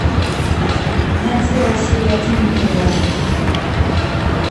найди россия один на тв